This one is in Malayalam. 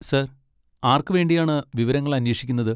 സാർ, ആർക്ക് വേണ്ടിയാണ് വിവരങ്ങൾ അന്വേഷിക്കുന്നത്?